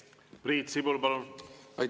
Priit Sibul, palun!